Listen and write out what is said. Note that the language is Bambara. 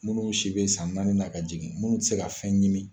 Munnu si be san naani na ka jigin munnu te se ka fɛn ɲimi.